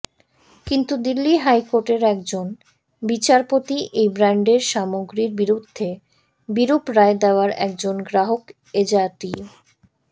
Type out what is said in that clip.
কিন্তু দিল্লি হাইকোর্টের একজন বিচারপতি এই ব্ৰ্যান্ডের সামগ্ৰীর বিরুদ্ধে বিরূপ রায় দেওয়ায় একজন গ্ৰাহক এজাতীয়